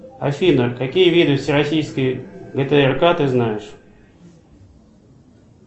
афина какие виды всероссийской гтрка ты знаешь